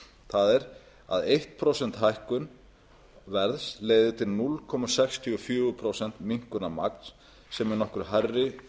það er að eitt prósent hækkun verðs leiði til núll komma sextíu og fjögur prósent minnkunar magns sem er nokkru hærri